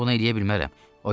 Mən bunu eləyə bilmərəm.